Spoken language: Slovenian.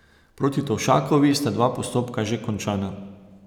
Proti Tovšakovi sta dva postopka že končana.